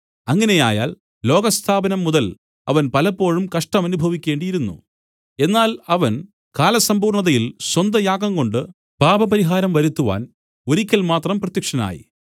അങ്ങനെയായാൽ ലോകസ്ഥാപനം മുതൽ അവൻ പലപ്പോഴും കഷ്ടമനുഭവിക്കേണ്ടിയിരുന്നു എന്നാൽ അവൻ കാലസമ്പൂർണതയിൽ സ്വന്ത യാഗംകൊണ്ടു പാപപരിഹാരം വരുത്തുവാൻ ഒരിക്കൽ മാത്രം പ്രത്യക്ഷനായി